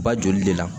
Ba joli de la